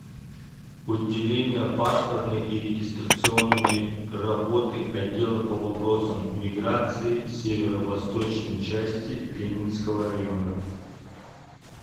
отделение паспортной и регистрационной работы отдела по вопросам миграции северо восточной части ленинского района